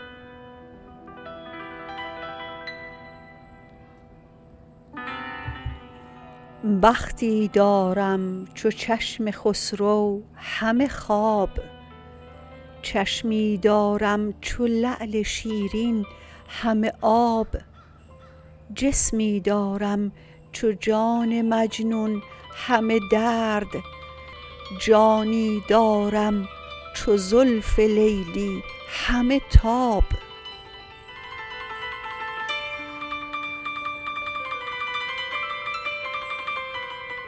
بختی دارم چو چشم خسرو همه خواب چشمی دارم چو لعل شیرین همه آب جسمی دارم چو جان مجنون همه درد جانی دارم چو زلف لیلی همه تاب